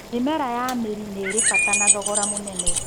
Mĩmera ya mĩri nĩirĩ bata thogora mũnene.